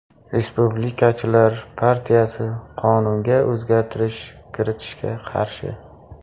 Respublikachilar partiyasi qonunga o‘zgartirish kiritishga qarshi.